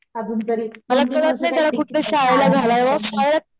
अजून तरी